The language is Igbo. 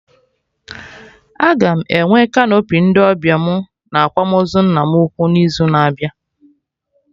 Aga m enwe canopy ndị ọbịa mụ na akwamozu nna m ukwu n'izu na-abịa